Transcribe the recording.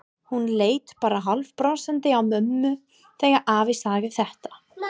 Hún leit bara hálfbrosandi á mömmu þegar afi sagði þetta.